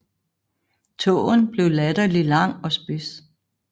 Tåen blev latterlig lang og spids